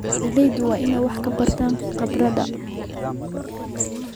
Beeraleydu waa inay wax ka bartaan khubarada.